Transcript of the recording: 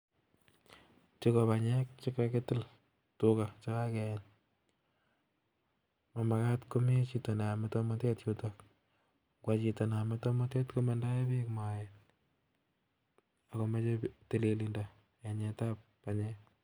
Chuu ko banyek chekakitil, tuga chekakeyeny. Mamagat komi chito neyome tumotet yutok, koyoe chito neyome tumotet komondoe biik moet ago moche tililindo yeng'et ab banyek